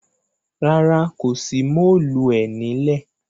Rárá, kò sí móòluẹ̀ ní lẹ̀.